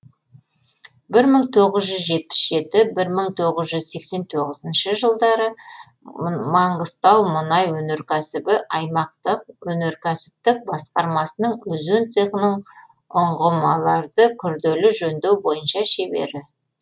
бір мың тоғыз жүз жетпіс жеті бір мың тоғыз жүз сексен тоғызыншы жылдары маңғыстаумұнайөнеркәсібі аймақтық өнеркәсіптік басқармасының өзен цехының ұғымаларды күрделі жөндеу бойынша шебері